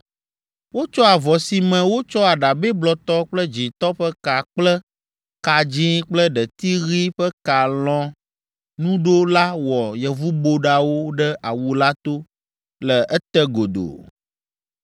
Wotsɔ avɔ si me wotsɔ aɖabɛ blɔtɔ kple dzĩtɔ ƒe ka kple ka dzĩ kple ɖeti ɣi ƒe ka lɔ̃ nu ɖo la wɔ yevuboɖawo ɖe awu la to le ete godoo.